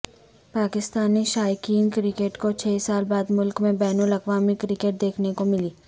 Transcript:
پاکستانی شائقین کرکٹ کو چھ سال بعد ملک میں بین الاقوامی کرکٹ دیکھنے کو ملی